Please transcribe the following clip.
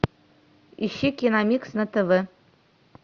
ищи киномикс на тв